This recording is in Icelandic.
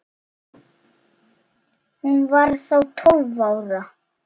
Hún var þá tólf ára.